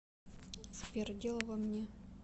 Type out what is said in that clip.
сбер дело во мне